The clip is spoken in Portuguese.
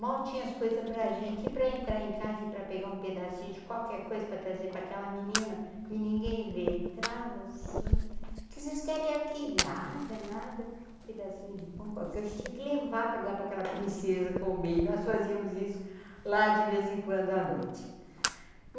mal tinha as coisas pra gente e pra entrar em casa e pra pegar um pedacinho de qualquer coisa pra trazer pra aquela menina e ninguém ver, entrava assim, que vocês querem aqui nada, nada, um pedacinho de pão, qualquer a gente, tinha que levar pra dar pra aquela princesa comer e nós fazíamos isso lá de vez em quando à noite.